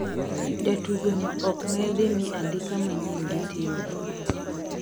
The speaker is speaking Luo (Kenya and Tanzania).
Jatugo no okdhimii andika manyien gi team no